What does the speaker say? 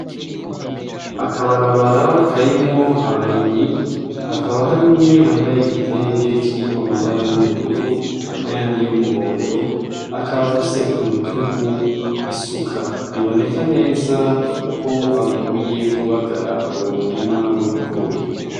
Akabarabara karimo abarimyi akaba hari umwe yambaye igitenge kirimu amabara y'ubururu n'ayandi yo umuhondo akaba afise ku rutugu isuka biboneka neza ko avuye kubagara uwo murima w'ibigori.